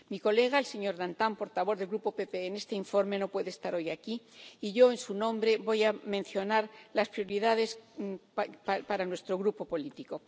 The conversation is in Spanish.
Mi colega, el señor Dantin, portavoz del Grupo PPE en este informe no puede estar hoy aquí y yo, en su nombre, voy a mencionar las prioridades para nuestro Grupo político.